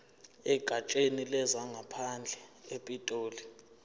egatsheni lezangaphandle epitoli